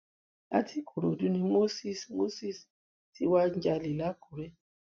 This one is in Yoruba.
láti ìkòròdú ni moses moses ti wá ń jalè lákúrẹ́